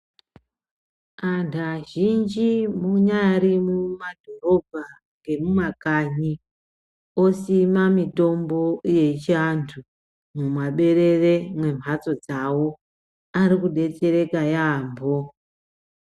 Antu azhinji munyari mumadhorobha ngemumakanyi osima mitombo yechiantu mumaberere mwemhatso dzawo. Ari kudetsereka yaambo.